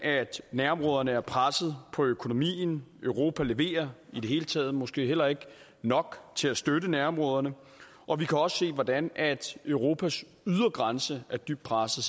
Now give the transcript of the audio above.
nærområderne er presset på økonomien og europa leverer i det hele taget måske heller ikke nok til at støtte nærområderne og vi kan også se hvordan europas ydre grænse er dybt presset